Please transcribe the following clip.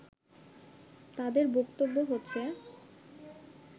তাদের বক্তব্য হচ্ছে